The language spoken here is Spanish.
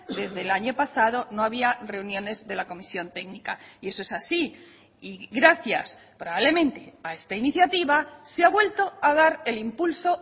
desde el año pasado no había reuniones de la comisión técnica y eso es así y gracias probablemente a esta iniciativa se ha vuelto a dar el impulso